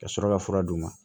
Ka sɔrɔ ka fura d'u ma